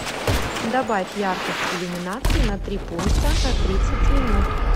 добавь яркость иллюминации на три пункта на тридцать минут